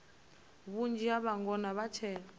vhunzhi ha vhangona vha tshe